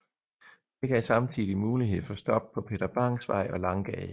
Det gav samtidig mulighed for stop på Peter Bangs Vej og Langgade